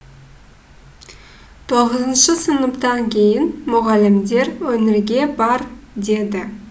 тоғызыншы сыныптан кейін мұғалімдер өнерге бар деді